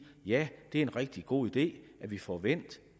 ja det er en rigtig god idé at vi får vendt